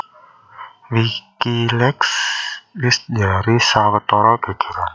Wikileaks wis njalari sawetara gègèran